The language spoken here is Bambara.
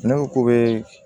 Ne ko k'o bee